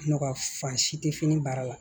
Nɔgɔ fan si te fini baara la